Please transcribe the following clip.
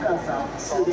Bakı Qazax.